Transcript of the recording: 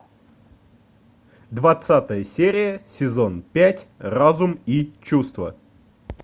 двадцатая серия сезон пять разум и чувства